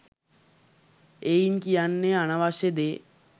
එයින් කියන්නේ අනවශ්‍ය දේ